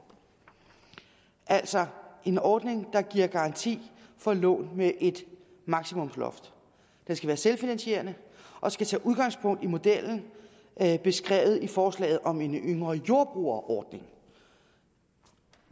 altså en ordning der giver garanti for lån med et maksimumloft den skal være selvfinansierende og skal tage udgangspunkt i modellen beskrevet i forslaget om en yngre jordbruger ordning